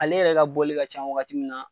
Ale yɛrɛ ka bɔli ka ca wagati mun na